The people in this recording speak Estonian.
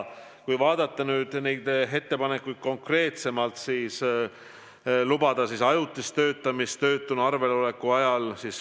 Kui vaadata neid ettepanekuid konkreetsemalt, siis võtame kõigepealt mõtte lubada ajutist töötamist töötuna arvel oleku ajal.